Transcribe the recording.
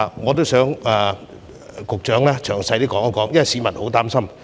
我希望局長可以詳細解說，因為市民都很擔心。